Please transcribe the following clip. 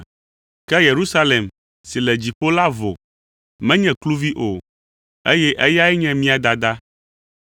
Ke Yerusalem si le dziƒo la vo, menye kluvi o, eye eyae nye mía dada.